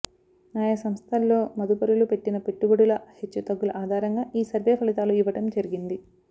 ఆయా సంస్థల్లో మదుపరులు పెట్టిన పెట్టుబడుల హెచ్చుతగ్గుల ఆధారంగా ఈ సర్వే ఫలితాలు ఇవ్వడం జరిగింది